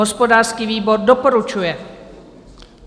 Hospodářský výbor doporučuje.